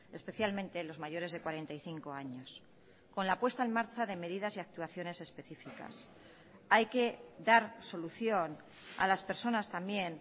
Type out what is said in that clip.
especialmente los mayores de cuarenta y cinco años con la puesta en marcha de medidas y actuaciones específicas hay que dar solución a las personas también